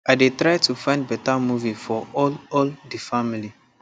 i dey try to find beta movie for all all the family